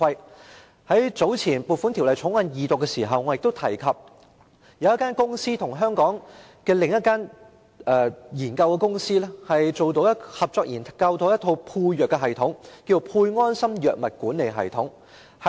早前，我曾於《2018年撥款條例草案》二讀時提及，有香港公司合作研發了一套配藥系統，名為"配安心藥物管理系統"。